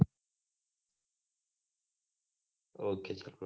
okay